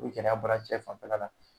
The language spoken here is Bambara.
U gɛrɛya bɔra cɛ fanfɛla la.